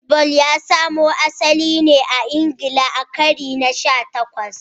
Baseball ya samo asali ne a Ingila a karni na sha takwas